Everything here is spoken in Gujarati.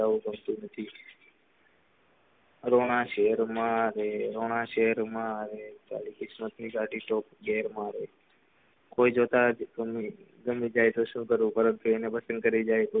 રોના શેર મારે રોના શેર અમારે ચાલી કિસ્મત ની ગાડી રોના શેર મારે કોઈ જો તાજ ગમી જાય તો શુ કરું પરંતુ એને પસંદ કરી જાય તે એવું ગમતું નથી.